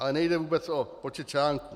Ale nejde vůbec o počet článků.